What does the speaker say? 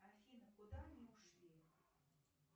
афина куда они ушли